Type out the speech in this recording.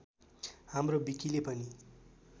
हाम्रो विकिले पनि